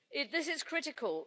This is critical.